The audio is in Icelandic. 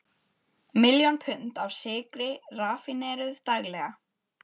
Miljón pund af sykri raffíneruð daglega.